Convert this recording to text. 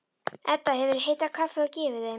Edda hefur hitað kaffi og gefið þeim.